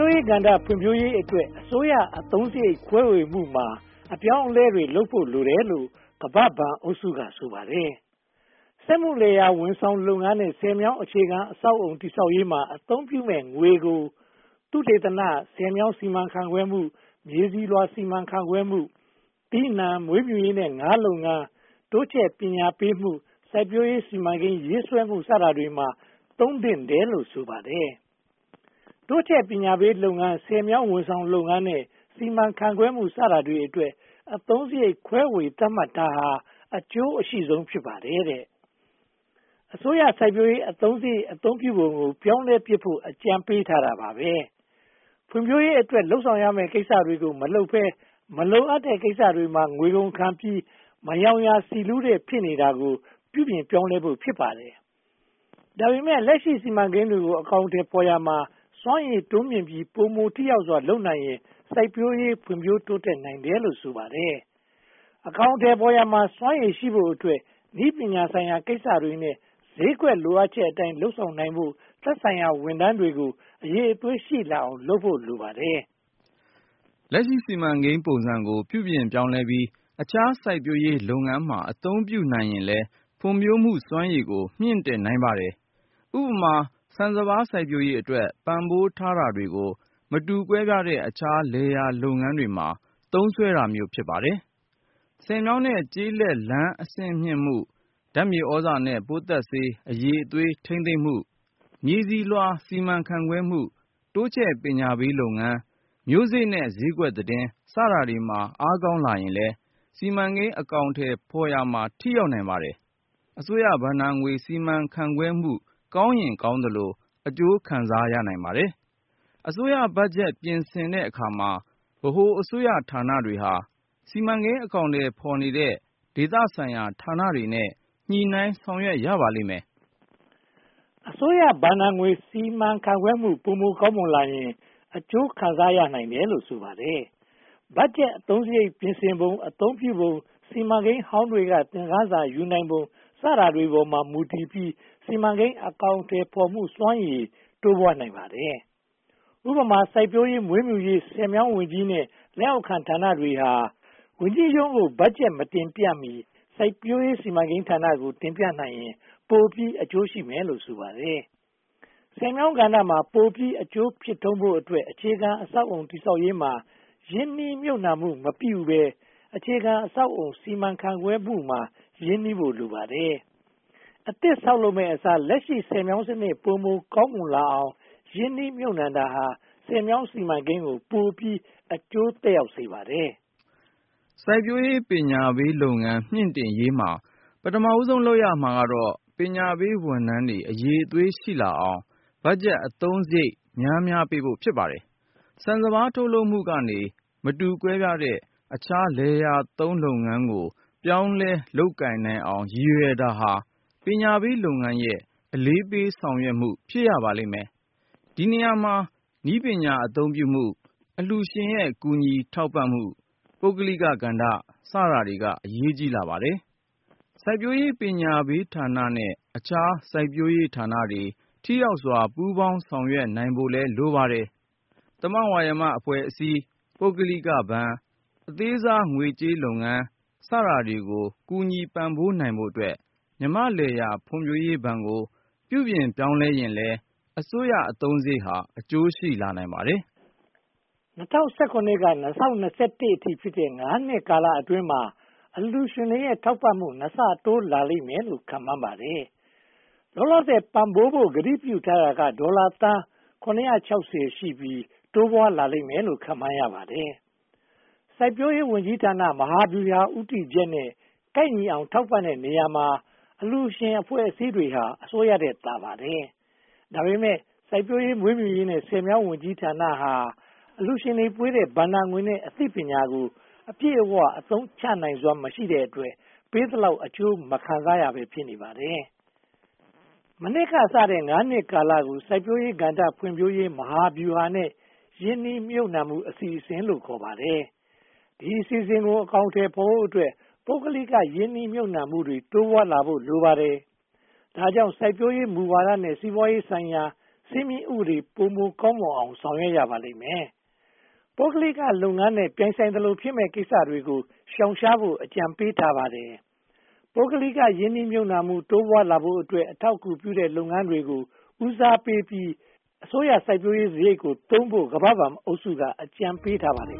ိုးရေးကဏ္ဍ ဖွံ့ဖြိုးရေးအတွက် အစိုးရအသုံးစရိတ် ခွဲဝေမှုမှာ အပြောင်းအလဲတွေလုပ်ဖို့ လိုတယ်လို့ ကမ္ဘာ့ဘဏ်အုပ်စုက ဆိုပါတယ်။ စက်မှုလယ်ယာ ဝန်ဆောင်မှုလုပ်ငန်းနဲ့ ဆည်မြောင်းအခြေခံ အဆောက်အအုံ တည်ဆောက်ရေးမှာ အသုံးပြုမယ့်ငွေကို သုတေသန၊ ဆည်မြောင်းစီမံခန့်ခွဲမှု၊ မြေဆီလွှာစီမံခန့်ခွဲမှု၊ သီးနံှ၊ မွေးမြူးရေးနဲ့ ငါးလုပ်ငန်း၊ တိုးချဲ့ပညာပေးမှု၊ စိုက်ပျိုးရေးစီမံကိန်း ရေးဆွဲမှု စတာတွေမှာ သုံးသင့်တယ်လို့ ဆိုပါတယ်။ တိုးချဲ့ပညာပေးလုပ်ငန်း၊ ဆည်မြောင်းဝန်ဆောင်မှုလုပ်ငန်း နဲ့ စီမံခန့်ခွဲမှု စတာတွေအတွက် အသုံးစရိတ် ခွဲဝေသတ်မှတ်တာဟာ အကျိုးအရှိဆုံး ဖြစ်ပါတယ်။ အစိုးရ စိုက်ပျိုးရေးအသုံးစရိတ် အသုံးပြုပုံကို ပြောင်းလဲပြစ်ဖို့ အကြံပေးထားတာပါ။ ဖွံ့ဖြိုးရေးအတွက် လုပ်ဆောင်ရမယ့် ကိစ္စတွေကို မလုပ်ဘဲ မလိုအပ်တဲ့ကိစ္စတွေမှာ ငွေကုန်ခံပြီး “မရောင်ရာဆီလူး” ဖြစ်နေတာကို ပြုပြင်ပြောင်းလဲဖို့ ဖြစ်ပါတယ်။ ဒါပေမဲ့ လက်ရှိ စီမံကိန်းတွေကို အကောင်အထည်ဖော်ရာမှာ စွမ်းရည်တိုးမြှင့်ပြီး ပိုမိုထိရောက်စွာ လုပ်နိုင်ရင်လည်း စိုက်ပျိုးရေး ဖွံ့ဖြိုးနိုင်တယ်လို့လည်း ဆိုပါတယ်။ အကောင်အထည်ဖော်ရာမှာ စွမ်းရည်ရှိဖို့အတွက် နည်းပညာဆိုင်ရာ ကိစ္စရပ်တွေနဲ့ ဈေးကွက်လိုအပ်ချက်အတိုင်း လုပ်ဆောင်နိုင်ဖို့ သက်ဆိုင်ရာဝန်ထမ်းတွေကို အရည်အသွေးရှိလာအောင် လုပ်ဖို့ လိုပါတယ်။ လက်ရှိ စီမံကိန်းပုံစံကို ပြုပြင်ပြောင်းလဲပြီး အခြားစိုက်ပျိုးရေးလုပ်ငန်းမှာ အသုံးပြုနိုင်ရင်လည်း ဖွံ့ဖြိုးမှုစွမ်းရည်ကို မြှင့်တင်နိုင်ပါတယ်။ ဥပမာ ဆန်စပါး စိုက်ပျိုးရေးအတွက် ပံ့ပိုးထားတာတွေကို မတူကွဲပြားတဲ့ အခြားလယ်ယာလုပ်ငန်းတွေမှာ သုံးစွဲတာမျိုး ဖြစ်ပါတယ်။ ဆည်မြောင်းနဲ့ ကျေးလက်လမ်း အဆင့်မြှင့်မှု၊ ဓါတ်မြေသြဇာနဲ့ ပိုးသတ်ဆေး အရည်အသွေး ထိန်းသိမ်းမှု၊ မြေဆီလွှာ စီမံခန့်ခွဲမှု၊ တိုးချဲ့ပညာပေးလုပ်ငန်း၊ မျိုးစေ့နဲ့ ဈေးကွက်သတင်း စတာတွေမှာ အားကောင်းလာရင်လည်း စီမံကိန်းအကောင်အထည်ဖော်ရာမှာ ထိရောက်နိုင်ပါတယ်။ အစိုးရဘဏ္ဍာငွေ စီမံခန့််ခွဲမှု ကောင်းရင်ကောင်းသလို အကျိုးခံစားနိုင်ပါတယ်။ အစိုးရဘတ်ဂျက် ပြင်ဆင်တဲ့အခါမှာ ဗဟိုအစိုးရဌာနတွေဟာ စီမံကိန်းအကောင်အထည်ဖော်နေတဲ့ ဒေသဆိုင်ရာဌာနတွေနဲ့ ညှိနှိုင်းဆောင်ရွက်ရပါလိမ့်မယ်။ အစိုးရဘဏ္ဍာငွေ စီမံခန့်ခွဲမှု ပိုမိုကောင်းမွန်လာရင် အကျိုးခံစားရနိုင်တယ်လို့ ဆိုပါတယ်။ ဘတ်ဂျက်အသုံးစရိတ်ကို ပြင်ဆင်ပုံ၊ စီမံကိန်းဟောင်းတွေထဲက သင်ခန်းစာ ရယူနိုင်ပုံ စတာတွေပေါ်မှာ မူတည်ပြီး စီမံကိန်း အကောင်အထည်ဖော်မှု စွမ်းရည် တိုးပွားနိုင်ပါတယ်။ ဥပမာ စိုက်ပျိုးရေး၊ မွေးမြူရေးနဲ့ ဆည်မြောင်းဝန်ကြီးရဲ့ လက်အောက်ခံဌာနတွေဟာ ဝန်ကြီးရုံးကိ ဘတ်ဂျက် မတင်ပြမီ စိုက်ပျိုးရေး စီမံကိန်းဌာနကို တင်ပြနိုင်ရင် ပိုပြီး အကျိုးရှည်မယ်လို့ ဆိုပါတယ်။ ဆည်မြောင်းကဏ္ဍမှာ ပိုမိုအကျိုးဖြစ်ထွန်းဖို့အတွက် အခြေခံအဆောက်အအုံ တည်ဆောက်ရေးမှာ ရင်းနှီးမြုပ်နံှမှုမပြုဘဲ အခြေခံအဆောက်အအုံ စီမံခန့်ခွဲမှုမှာ ရင်းနှီးဖို့ လိုပါတယ်။ အသစ်ဆောက်လုပ်မယ့်အစား လက်ရှိဆည်မြောင်းစနစ် ပိုမိုကောင်းမွန်လာအောင် ရင်းနှီးမြုပ်နံှတာဟာ ဆည်မြောင်းစီမံကိန်းကို ပိုမိုအကျိုးသက်ရောက်စေပါတယ်။ စိုက်ပျိုးရေး ပညာပေးလုပ်ငန်း မြှင့်တင်ရေးမှာ ပထမဦးဆုံး လုပ်ရမှာကတော့ ပညာရေးဝန်ထမ်းတွေ အရည်အသွေး ရှိလာအောင် ဘတ်ဂျက်အသုံးစရိတ် များများပေးဖို့ ဖြစ်ပါတယ်။ ဆန်စပါး ထုတ်လုပ်မှုကနေ မတူကွဲပြားတဲ့ အခြားလယ်ယာလုပ်ငန်းကို ပြောင်းလဲလုပ်ကိုင်နိုင်အောင် ရည်ရွယ်တာဟာ ပညာပေးလုပ်ငန်းရဲ့ အလေးပေးဆောင်ရွက်မှု ဖြစ်ရပါလိမ့်မယ်။ ဒီနေရာမှာ နည်းပညာအသုံးပြုမှု၊ အလှုရှင်ရဲ့ ကူညီထောက်ပံ့မှု၊ ပုဂ္ဂလိကကဏ္ဍ စတာတွေ အရေးကြီးလာပါတယ်။ စိုက်ပျိုးရေး ပညာပေးဌာနနဲ့ အခြားစိုက်ပျိုးရေးဌာနတွေ ထိရောက်စွာ ပူးပေါင်းဆောင်ရွက်နိုင်ဖို့လည်း လိုပါတယ်။ သမဝါယမအဖွဲ့အစည်း၊ ပုဂ္ဂလိကဘဏ်၊ အသေးစား ငွေကြေးလုပ်ငန်း စတာတွေကို ကူညီပံ့ပိုးနိုင်ဖို့အတွက် မြန်မာ့လယ်ယာဖွံ့ဖြိုးရေးဘဏ်ကို ပြုပြင်ပြောင်းလဲရင်လည်း အစိုးရအသုံးစရိတ်ဟာ အကျိုးရှိနိုင်ပါတယ်။ ၂၀၁၇ ကနေ ၂၀၂၁ အထိဖြစ်တဲ့ ငါးနှစ်ကာလအတွင်းမှာ အလှုရှင်တွေရဲ့ ထောက်ပံ့မှု နှစ်ဆတိုးလာလိမ့်မယ်လို့ ခန့်မှန်းထားပါတယ်။ လောလောဆယ်ပံ့ပိုးဖို့ ကတိပြုထားတာဟာ ဒေါ်လာသန်း (၇၆၀) ရှိပြီး တိုးပွားလာလိမ့်မယ်လို့ ခန့်မှန်းရပါတယ်။ စိုက်ပျိုးရေးဝန်ကြီးဌာနရဲ့ မဟာဗျူဟာဦးတည်ချက်နဲ့ ကိုက်ညီအောင် ထောက်ပံ့တဲ့နေရာမှာ အလှုရှင်အဖွဲ့အစည်းတွေဟာ အစိုးရထက်သာပါတယ်။ ဒါပေမဲ့ စိုက်ပျိုးရေး၊ မွေးမြူရေးနဲ့ ဆည်မြောင်းဝန်ကြီးဌာနဟာ အလှုရှင်တွေပေးတဲ့ ဘဏ္ဍာငွေနဲ့ အသိပညာကို အပြည့်အဝ အသုံးချနိုင်စွမ်း မရှိတဲ့အတွက် ပေးသလောက် အကျိုးမခံစားရဘဲ ဖြစ်နေပါတယ်။ မနှစ်ကစတဲ့ (၅) နှစ်ကာလကို စိုက်ပျိုးရေးကဏ္ဍ ဖွံ့ဖြိုးရေးမဟာဗျူဟာနဲ့ ရင်းနှီးမြုပ်နံှမှု အစီအစဉ်လို့ ခေါ်ပါတယ်။ ဒီ အစီအစဉ်ကို အကောင်အထည်ဖော်ဖို့အတွက် ပုဂ္ဂလိက ရင်းနှီးမြုပ်နံှမှုတွေ တိုးပွားလာဖို့ လိုပါတယ်။ ဒါကြောင့် စိုက်ပျိုးရေးမူဝါဒနဲ့ စီးပွားရေးဆိုင်ရာ စည်းမျဉ်းဥပဒေ ပိုမိုကောင်းမွန်လာအောင် ဆောင်ရွက်ရပါလိမ့်မယ်။ ပုဂ္ဂလိလုပ်ငန်းနဲ့ ပြိုင်ဆိုင်သလို ဖြစ်မယ့်ကိစ္စတွေကို ရှောင်ရှားဖို့ အကြံပေးထားပါတယ်။ ပုဂ္ဂလိက ရင်းနှီးမြုပ်နံှမှု တိုးပွားလာဖို့အတွက် အထောက်အကူပြုတဲ့ လုပ်ငန်းတွေကိုလည်း ဦးစားပေးပြီး အစိုးရစိုက်ပျိုးရေးစရိတ်ကိုသုံးဖို့ ကမ္ဘာ့ဘဏ်အုပ်စုက အကြံပေးထားပါတယ်